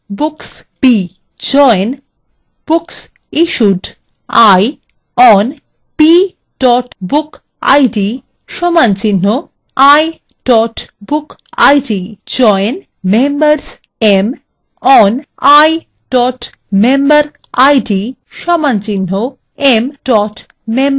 join booksissued i on b bookid = i bookid